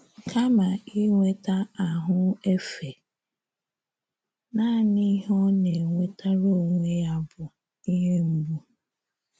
Kama inweta ahụ efe, nanị ihe ọ na - enwetara onwe ya bụ ihe mgbu.